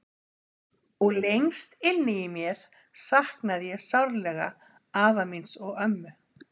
Og lengst inni í mér saknaði ég sárlega afa míns og ömmu.